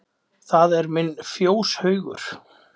Það er minn fjóshaugur.